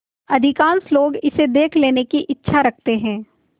अधिकांश लोग इसे देख लेने की इच्छा रखते हैं